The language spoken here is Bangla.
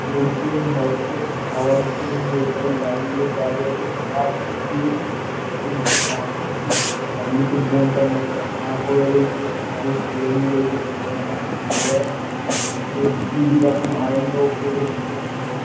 লোকজন হয়তো খাওয়ার জন্য এখানে লাইন দিয়ে দাড়িয়ে আছে মারাত্মক ভীড় এই পাশ থেকে ডান দিকের বোনটা মুখ টা আ করে রয়েছে কারো কোলে নিয়ে রয়েছে কোলে না কাউকে হেগে দেয় বেশ দিদিরা খুব আনন্দ উপভোগ করছে।